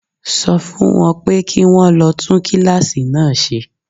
Sọ fún wọn pé kí wón lọ tún kíláàsì náà ṣe.